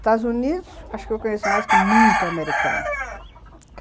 Estados Unidos, acho que eu conheço mais que muito americano.